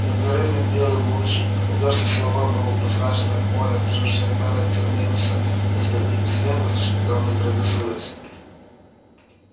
непрерывный белый луч упёрся в силовое полупрозрачное поле окружавшее мэра терминуса и безвредно зашипел нейтрализуясь